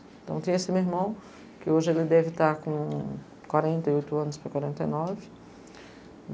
Então tem esse meu irmão, que hoje ele deve estar com quarenta e oito anos para quarenta e nove.